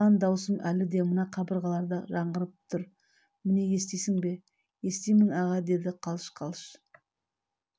шыңғырған дауысым әлі мына қабырғаларда жаңғырып тұр міне естисің бе естимін аға деді қалш-қалш